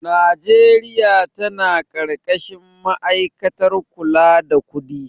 Babbar bankin Najeriya ta na ƙarƙashin ma'aikatar kula da kudi